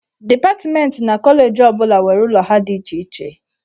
Dipatmentị na koleji ọ bụla nwere ụlọ ha dị iche iche.